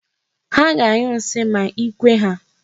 Ha ga-anyụ nsi ma ikwe ha.